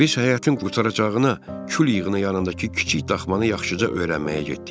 Biz həyətin qurtaracağına kül yığını yanındakı kiçik daxmanı yaxşıca öyrənməyə getdik.